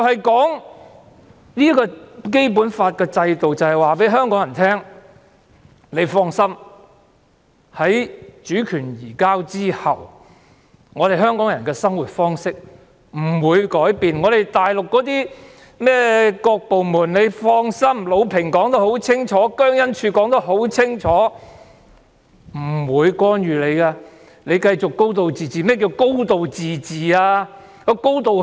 《基本法》的制度便是要令香港人放心，在主權移交後，香港人的生活方式不會改變；魯平和姜恩柱說得很清楚，內地的各部門等是不會干預香港事務的，香港會繼續"高度自治"。